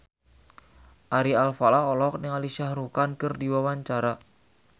Ari Alfalah olohok ningali Shah Rukh Khan keur diwawancara